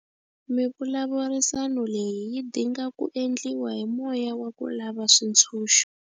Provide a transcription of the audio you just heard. Mivulavurisano leyi yi dinga ku endliwa hi moya wa ku lava switshunxo.